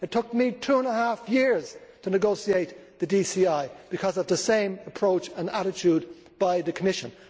It took me two and a half years to negotiate the DCI because of the same approach and attitude by the Commission.